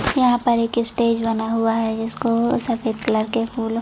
यहाँ पर एक स्टेज बना हुआ है जिसको सफ़ेद कलर के फूलो--